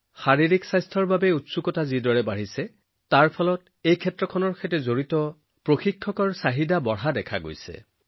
শাৰীৰিক স্বাস্থ্যৰ প্ৰতি আগ্ৰহ বাঢ়ি অহাৰ লগে লগে এই ক্ষেত্ৰখনৰ লগত জড়িত প্ৰশিক্ষক আৰু প্ৰশিক্ষকৰ চাহিদাও বাঢ়িছে